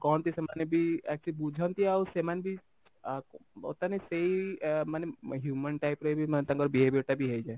କହନ୍ତି ସେମାନେ ବି ଆସିକି ବୁଝନ୍ତି ଆଉ ସେମାନେ ବି ଆ ବର୍ତମାନ ସେଇ ଏ ମାନେ human type ର ବି ମାନେ ତାଙ୍କର behaviour ଟା ବି ହେଇଯାଏ